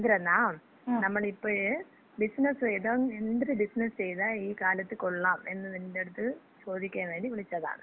എന്തരെന്നാ, നമ്മള് ഇപ്പഴ് ബിസിനസ്സ് ചെയ്താ എന്തര് ബിസിനസ് ചെയ്താ ഈ കാലത്ത് കൊള്ളാം എന്ന് നിന്‍റെടുത്ത് ചോദിക്കാൻ വേണ്ടി വിളിച്ചതാണ്.